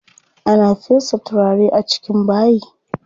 Ana fesa turare a cikin bayi.